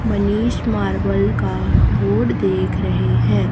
Manish marble का board देख रहे हैं।